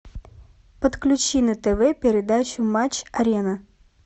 подключи на тв передачу матч арена